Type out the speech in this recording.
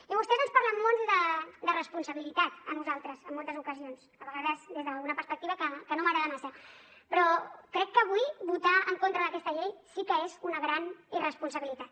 i vostès ens parlen molt de responsabilitat a nosaltres en moltes ocasions a vegades des d’una perspectiva que no m’agrada massa però crec que avui votar en contra d’aquesta llei sí que és una gran irresponsabilitat